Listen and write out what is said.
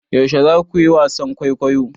Yaushe za ku yi wasan kwaikwayo?